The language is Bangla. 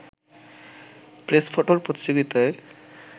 প্রেস ফটোর প্রতিযোগিতায়